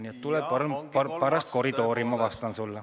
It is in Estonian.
Nii et tule pärast koridori ja ma vastan sulle.